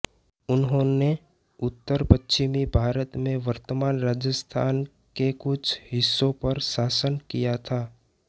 उन्होंने उत्तरपश्चिमी भारत में वर्तमान राजस्थान के कुछ हिस्सों पर शासन किया था